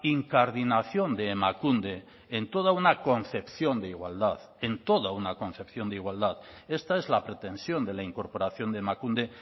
incardinación de emakunde en toda una concepción de igualdad en toda una concepción de igualdad esta es la pretensión de la incorporación de emakunde